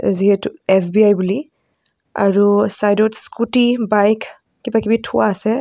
যিহেতু এছ_বি_আই বুলি আৰু চাইদ ত স্কুটি বাইক কিবা কিবি থোৱা আছে.